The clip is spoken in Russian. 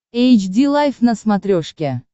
эйч ди лайф на смотрешке